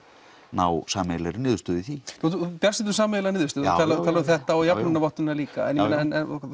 ná sameiginlegri niðurstöðu í því þú er bjartsýnn um sameiginlega niðurstöðu þú talar um þetta og jafnlaunavottunina líka en